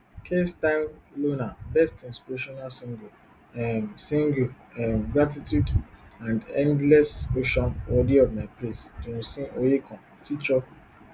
kaestyle llona best inspirational single um single um gratitude anendlessocean worthy of my praise dunsin oyekan ft